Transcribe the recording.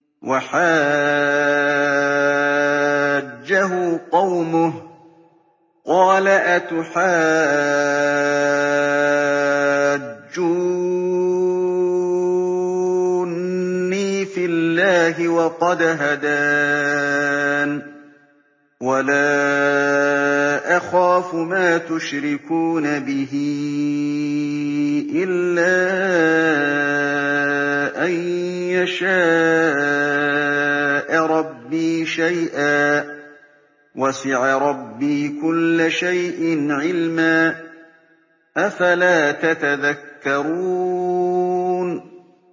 وَحَاجَّهُ قَوْمُهُ ۚ قَالَ أَتُحَاجُّونِّي فِي اللَّهِ وَقَدْ هَدَانِ ۚ وَلَا أَخَافُ مَا تُشْرِكُونَ بِهِ إِلَّا أَن يَشَاءَ رَبِّي شَيْئًا ۗ وَسِعَ رَبِّي كُلَّ شَيْءٍ عِلْمًا ۗ أَفَلَا تَتَذَكَّرُونَ